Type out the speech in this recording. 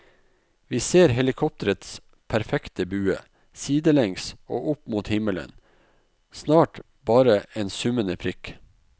Vi ser helikopterets perfekte bue, sidelengs og opp mot himmelen, snart bare en summende prikk.